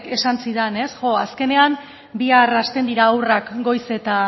esan zidan ez jo azkenean bihar hasten dira haurrak goiz eta